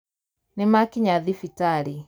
Nĩmakinya thibitarĩ.